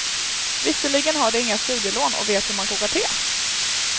Visserligen har du inga studielån och vet hur man kokar te.